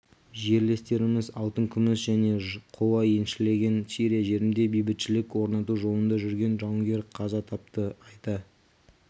жерлестеріміз алтын күміс және қола еншілеген сирия жерінде бейбітшілік орнату жолында жүрген жауынгер қаза тапты айта